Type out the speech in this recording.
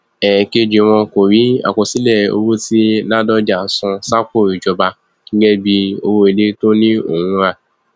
ẹẹkejì wọn kò rí àkọsílẹ owó tí ládọjà san sápò ìjọba gẹgẹ bíi owó ilé tó ní òun rà